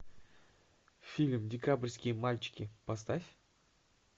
фильм декабрьские мальчики поставь